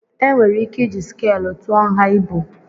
Enwere ike iji skàlụ tụọ nha ibu